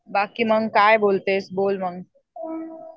बाकी मग काय बोलतेस बोल मग.